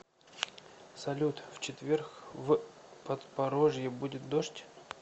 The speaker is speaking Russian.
салют в четверг в подпорожье будет дождь